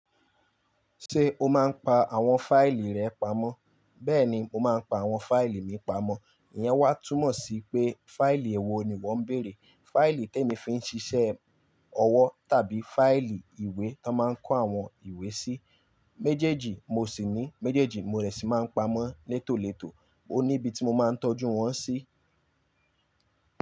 Ṣé o máa ń pa àwọn fáìlì rẹ pamọ́? Bẹ́ẹ̀ni, mo máa ń pa àwọn fáìlì mi pamọ́. Ìyẹn wá túmọ̀ sí pé fáìlì èwo ni wo ń bèrè. Fáìlì tí èmi fi ń ṣiṣẹ́ ọwọ́ tàbí fáìlì ìwé tón máa ń kó àwọn ìwé sí. Méjèèjì mo sì ní, méjèèjì mo rẹ̀ sì máa ń pamọ́ létòletò. Ó ní ibi tí mo máa ń tọ́jú wọ́n sí.